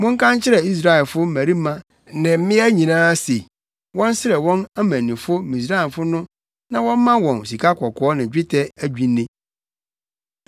Monka nkyerɛ Israelfo mmarima ne mmaa nyinaa se wɔnsrɛ wɔn amannifo Misraimfo no na wɔmma wɔn sikakɔkɔɔ ne dwetɛ adwinne.”